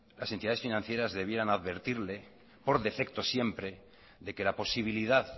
las entidades financieras debieran advertirle por defecto siempre de que la posibilidad